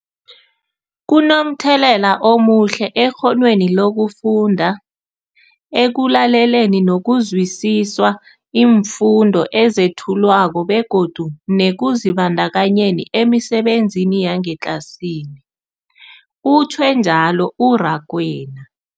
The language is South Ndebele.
Kunomthelela omuhle ekghonweni lokufunda, ekulaleleni nokuzwisiswa iimfundo ezethulwako begodu nekuzibandakanyeni emisebenzini yangetlasini, utjhwe njalo u-Rakwena.